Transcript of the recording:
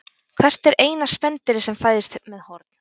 Hvert er eina spendýrið sem fæðist með horn?